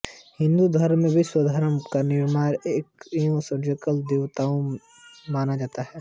हिन्दू धर्म में विश्वकर्मा को निर्माण एवं सृजन का देवता माना जाता है